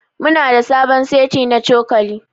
Muna da sabon seti na cokali.